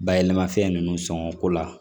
Bayɛlɛmafɛn ninnu sɔngɔ ko la